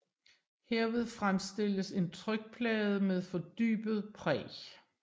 Herved fremstilles en trykplade med fordybet præg